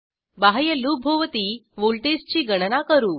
बाह्य लूपभोवती व्हॉल्टेजची गणना करू